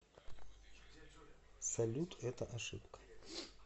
салют это ошибка